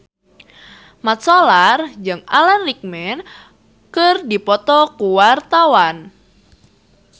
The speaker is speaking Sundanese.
Mat Solar jeung Alan Rickman keur dipoto ku wartawan